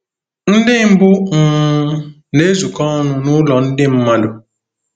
Ndị mbụ um na-ezukọ ọnụ n'ụlọ ndị mmadụ